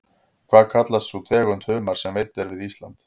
Hvað kallast sú tegund humars sem veidd er við Ísland?